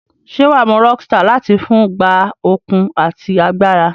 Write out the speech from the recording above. Se waa mu Rockstar lati fun gba okun ati agbara?